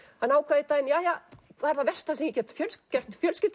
hann ákvað einn daginn jæja hvað er það versta sem ég get gert fjölskyldu